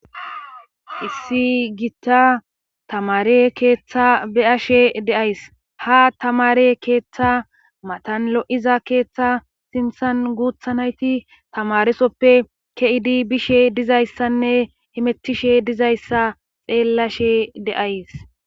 Issi gitta tamare keeththa be7ashe de7ays ha tamare keeththa matan lo7iza keeththa sinthan guutha nayti tamaresoppe keidi bishe dizayssanne himettishe dizayssa xeellashe de7ays.